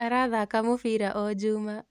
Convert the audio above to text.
Arathaka mũbira o juma